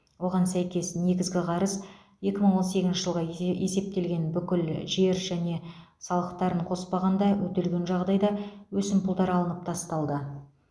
оған сәйкес негізгі қарыз екі мың он сегізінші жылға есептелген бүкіл жер және салықтарын қоспағанда өтелген жағдайда өсімпұлдар алынып тасталды